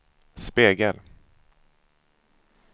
spegel